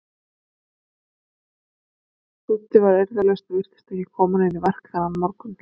Dúddi var eirðarlaus og virtist ekki koma neinu í verk þennan morgun.